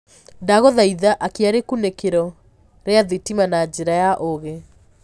ndagũthaĩtha akĩa rikunikiro ria thitima na njĩra ya uugi